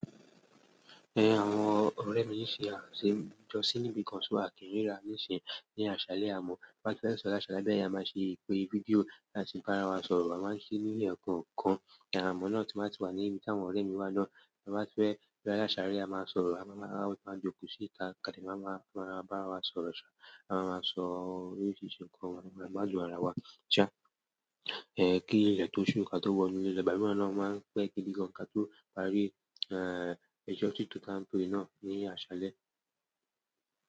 Eh, àwọn ọ̀rẹ́ mi ní ṣe àrà ṣe jó sí ibi kan só a kìí ní rá níìsín ní àṣálẹ́ àmọ́. Ti a ba ti fẹ́ sun láṣálẹ́ yen a máa ṣe video láti bá ara wa sọ̀rọ̀. A máa ń ṣe ní ekookan, àmọ́ náà tí n ba ti wà ní ibi tí àwọn ọ̀rẹ́ mi wà náà. Ti a ba tii fe sun ni asale, a maa sọ̀rọ̀, a joko si ita, a maa ba ara wa sọ̀rọ̀, a maa maa so oríṣiríṣi oro ki a gbádùn ara wa eh kí ilẹ̀ tó sún ká tó wọ inú ilé, ìgbà míiran náà ó máa ń pẹ́ gidi gan kí a tó parí ẹjọ́ tí tó tá ń tó rí náà ní àṣálẹ́.